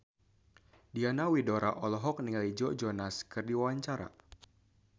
Diana Widoera olohok ningali Joe Jonas keur diwawancara